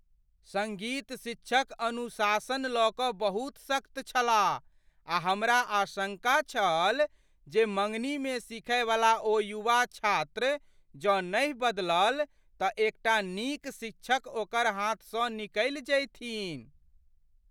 सङ्गीत शिक्षक अनुशासन लऽ कऽ बहुत सख्त छलाह आ हमरा आशङ्का छल जे मँगनीमे सीखयवला ओ युवा छात्र जँ नहि बदलल तँ एकटा नीक शिक्षक ओकर हाथसँ निकलि जयथिन।